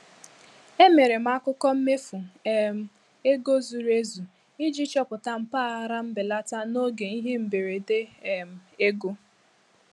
Emere m akụkọ mmefu um ego zuru ezu iji chọpụta mpaghara nbelata n'oge ihe mberede um ego.